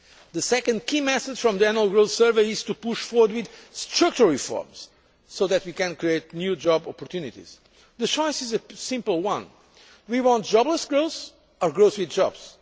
The second key message from the Annual Growth Survey is to push forward with structural reforms so that we can create new job opportunities. The choice is a simple one do we want jobless growth or growth with jobs?